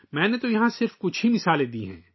میں نے یہاں صرف چند مثالیں دی ہیں